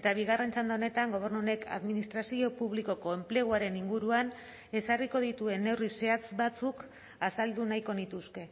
eta bigarren txanda honetan gobernu honek administrazio publikoko enpleguaren inguruan ezarriko dituen neurri zehatz batzuk azaldu nahiko nituzke